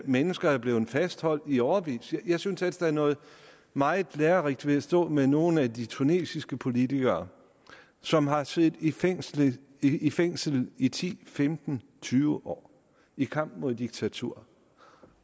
mennesker er blevet fastholdt i årevis jeg synes ellers der er noget meget lærerigt ved at stå med nogle af de tunesiske politikere som har siddet i fængsel i fængsel i ti femten tyve år i kampen mod diktatur